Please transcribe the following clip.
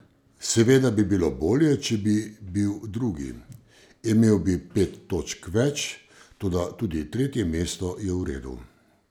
Seveda bi bilo bolje, če bi bil drugi, imel bi pet točk več, toda tudi tretje mesto je v redu.